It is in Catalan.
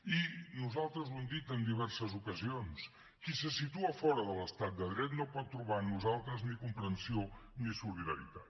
i nosaltres ho hem dit en diverses ocasions qui se situa fora de l’estat de dret no pot trobar en nosaltres ni comprensió ni solidaritat